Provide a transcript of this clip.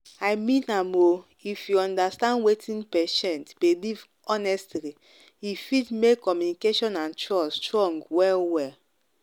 i mean am o if you understand wetin patient believe honestly e fit make communication and trust strong well-well.